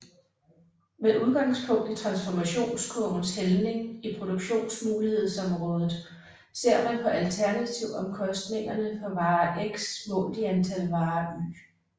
Med udgangspunkt i transformationskurvens hældning i produktionsmulighedsområdet ser man på alternativomkostningerne for vare x målt i antal vare y